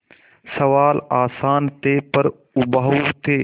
सवाल आसान थे पर उबाऊ थे